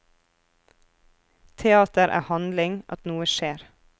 Teater er handling, at noe skjer.